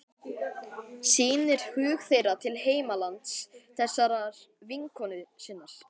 Sýnir hug þeirra til heimalands þessarar vinkonu sinnar.